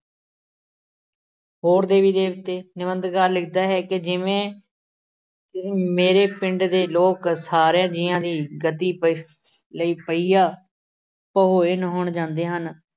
ਹੋਰ ਦੇਵੀ ਦੇਵਤੇ, ਨਿੰਬਧਕਾਰ ਲਿਖਦਾ ਹੈ ਕਿ ਜਿਵੇਂ ਅਮ ਮੇਰੇ ਪਿੰਡ ਦੇ ਲੋਕ ਸਾਰਿਆਂ ਜੀਆਂ ਦੀ ਗਤੀ ਪਅਹ ਲਈ ਪਹੀਆ ਨਹਾਉਣ ਜਾਂਦੇ ਹਨ